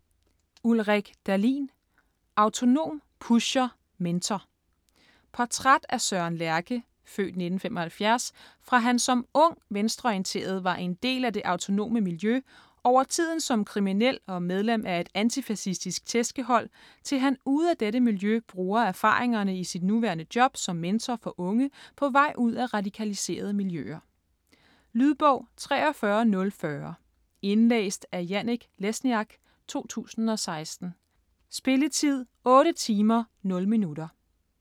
Dahlin, Ulrik: Autonom, pusher, mentor Portræt af Søren Lerche (f. 1975) fra han som ung, venstreorienteret var en del af det autonome miljø, over tiden som kriminel og medlem af et antifacistisk tæskehold, til han ude af dette miljø bruger erfaringerne i sit nuværende job som mentor for unge på vej ud af radikaliserede miljøer. Lydbog 43040 Indlæst af Janek Lesniak, 2016. Spilletid: 8 timer, 0 minutter.